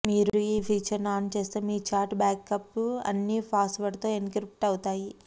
మీరు ఈ feature on చేస్తే మీ ఛాట్ బ్యాకప్స్ అన్నీ పాస్వర్డ్తో ఎన్క్రిప్ట్ అవుతాయి